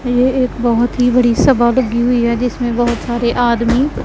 ये एक बहुत ही बड़ी सभा लगी हुई है जिसमें बहुत सारे आदमी--